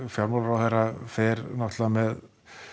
fjármálaráðherra fer með